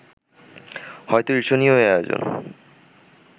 হয়তো ঈর্ষণীয় এই আয়োজন